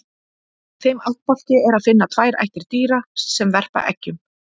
Í þeim ættbálki er að finna tvær ættir dýra sem verpa eggjum.